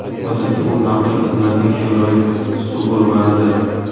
Odatda u maxfiy xizmatning Chevrolet Suburban’idir.